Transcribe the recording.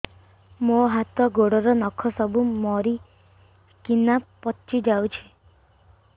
ମୋ ହାତ ଗୋଡର ନଖ ସବୁ ମରିକିନା ପଚି ଯାଉଛି